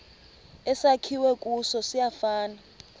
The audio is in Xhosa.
esakhiwe kuso siyafana